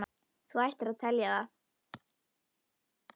Þú ættir að telja það.